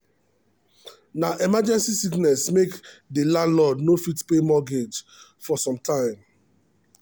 na emergency sickness make the landlord no fit pay mortgage for some time.